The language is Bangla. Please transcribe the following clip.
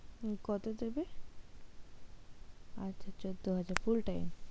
কতো দেবে? আচ্ছা চোদ্দ হাজার full time?